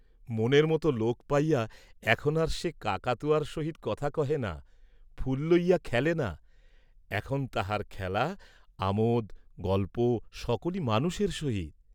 মনের মত লােক পাইয়া এখন আর সে কাকাতুয়াব সহিত কথা কহে না, ফুল লইয়া খেলে না, এখন তাহাব খেলা, আমােদ, গল্প, সকলি মানুষেব সহিত।